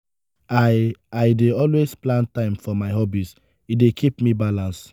i i dey always plan time for my hobbies; e dey keep me balance.